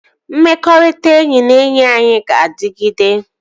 Mmekọrịta enyi na enyi anyị ga-adịgide